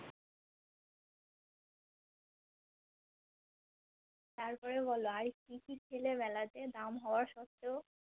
তারপরে বলো আরকিকি খেলে মেলাতে দাম হবা সত্ত্বেও?